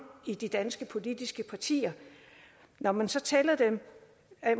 i de danske politiske partier når man så tæller